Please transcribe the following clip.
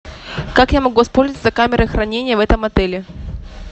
как я могу воспользоваться камерой хранения в этом отеле